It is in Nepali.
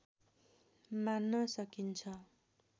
मान्न सकिन्छ